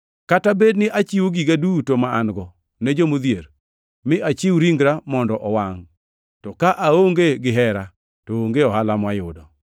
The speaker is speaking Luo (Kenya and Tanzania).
Kata bed ni achiwo giga duto ma an-go ne jodhier, mi achiw ringra mondo owangʼ, to ka aonge gihera, to onge ohala mayudo.